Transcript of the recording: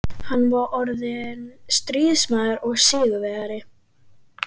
Hann var orðinn stríðsmaður og sigurvegari.